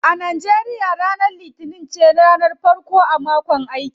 A Nigeria ranar litinin ce ranar farko a mako na aiki.